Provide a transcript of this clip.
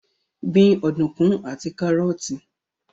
Gbin ọ̀dùnkún àti kárọ́ọ́tì